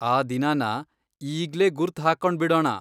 ಆ ದಿನನ ಈಗ್ಲೇ ಗುರ್ತ್ ಹಾಕೊಂಡ್ಬಿಡೋಣ.